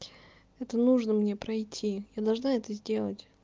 это нужно мне пройти я должна это сделать